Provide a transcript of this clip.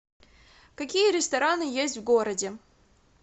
какие рестораны есть в городе